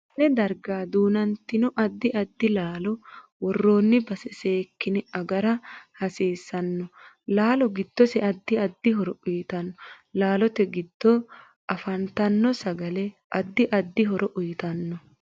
Konne darga duunantino addi addi laalo worooni base seekine agara hasiisanno laalo giddose addi addi horo uyiitano laalote giddo afantano sagale addi addi horo uyiitanno